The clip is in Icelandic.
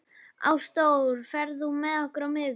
Ásdór, ferð þú með okkur á miðvikudaginn?